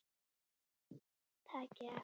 Takið eftir!